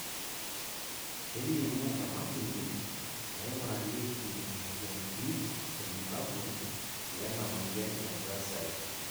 kelimu emashini naingurarieki imoyiaritin irbulabol lena moyian e GRACILE